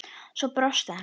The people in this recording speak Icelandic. Svo brosti hann.